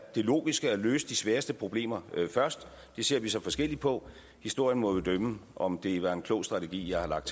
logisk at løse de sværeste problemer først det ser vi så forskelligt på historien må jo dømme om det er en klog strategi jeg har lagt